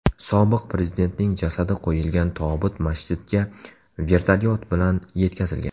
Sobiq prezidentning jasadi qo‘yilgan tobut masjidga vertolyot bilan yetkazilgan.